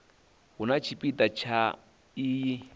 hu na tshipida tsha iyi